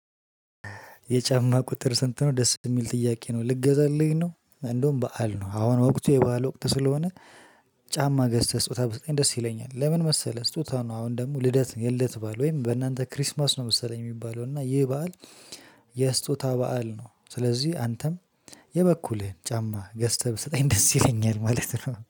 የጫማ ቁጥር ስንት ነው? ደስ የሚል ጥያቄ ነው ልገዛልኝ ነው እንደውም በዓል ነው አሁን ወቅት የበአል ወቅት ስለሆነ። ጫማ ገዝተህ ስጦታ ብሰጠኝ ደስ ይለኛል። ለምን መሰለህ? ስጦታ ነው አሁን ደግሞ ልደት የልደት ብዓል ወይም በእናንተ ክሪስማስ ነው መሰለኝ የሚባለው እና ይህ ብዓል። የስጦታ በዓል ነው። ስለዚህ አንተም የበኩልህን ጫማ ገዝተህ ብሰጠኝ ደስ ይለኛል። ማለት ነው